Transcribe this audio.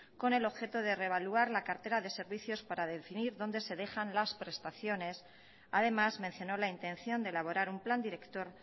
con el objeto de revaluar la cartera de servicios para definir dónde se dejan las prestaciones además mencionó la intención de elaborar un plan director